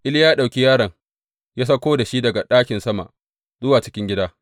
Iliya ya ɗauki yaron ya sauko da shi daga ɗakin sama zuwa cikin gida.